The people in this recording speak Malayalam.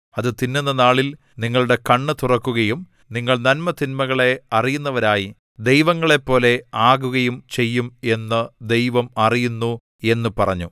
അത് തിന്നുന്ന നാളിൽ നിങ്ങളുടെ കണ്ണ് തുറക്കുകയും നിങ്ങൾ നന്മതിന്മകളെ അറിയുന്നവരായി ദൈവങ്ങളെ പോലെ ആകയും ചെയ്യും എന്ന് ദൈവം അറിയുന്നു എന്നു പറഞ്ഞു